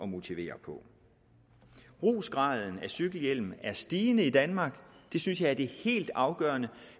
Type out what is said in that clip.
motivere på brugsgraden af cykelhjelm er stigende i danmark det synes jeg er det helt afgørende